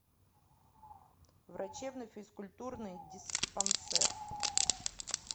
врачебно физкультурный диспансер